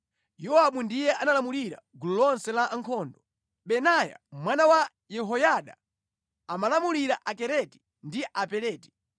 Yowabu ndiye amalamulira gulu lonse la ankhondo. Benaya mwana wa Yehoyada amalamulira Akereti ndi Apeleti.